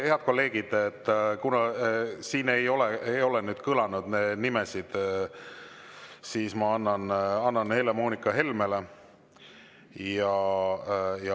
Head kolleegid, kuna siin ei ole kõlanud neid nimesid, siis ma annan Helle‑Moonika Helmele.